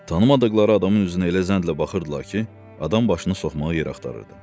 Tanımadıqları adamın üzünə elə zəhlə baxırdılar ki, adam başını soxmağa yer axtarırdı.